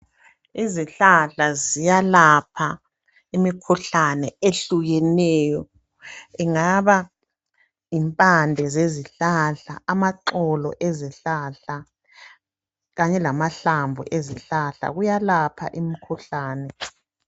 Izihlahla ziyalapha imikhuhlane ehlukeneyo. Ingaba yimpande sezihlahla , amaxolo ezihlahla kanye lamahlamvu ezihlahla. Kuyalapha imikhuhlane.